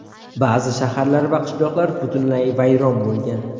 Ba’zi shaharlar va qishloqlar butunlay vayron bo‘lgan.